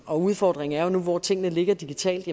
og udfordringen nu hvor tingene ligger digitalt